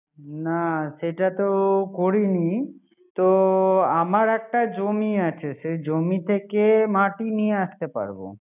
না সেটা তো করিনি তো আমার একটা জমি আছে সে জমি থেকে নিয়ে আসতে পারবো